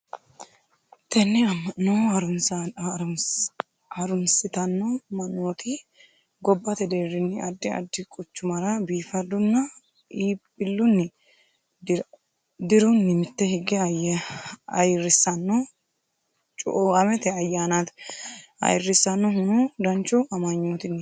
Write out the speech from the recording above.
tenne amma'no harunsittanno mannoti gobbate derrinni addi addi quchumara biifaddunna ibbillunni dirrunni mitte higge ayyirrissanno cuuamate ayyanaati. ayyirinsannihuno danchu amanyootinniti.